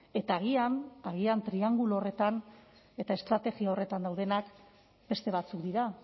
eta agian agian triangulo horretan eta estrategia horretan daudenak beste batzuk dira